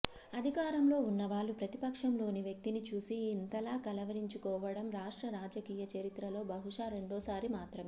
అధికారంలో ఉన్నవాళ్లు ప్రతిపక్షంలోని వ్యక్తిని చూసి ఇంతలా కలవరించుకోవడం రాష్ట్ర రాజకీయ చరిత్రలో బహుశా రెండోసారి మాత్రమే